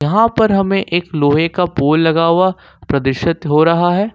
वहां पर हमें एक लोहे का पोल लगा हुआ परदृषित हो रहा है।